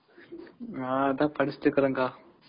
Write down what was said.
நான் அதான் படிச்சுட்டு இருக்கேன்கா.